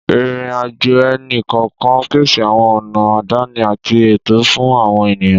Ìrìn-àjò ẹnì kọ̀ọ̀kan ń pèsè àwọn ọ̀nà àdáni àti ètò fún àwọn ènìyàn.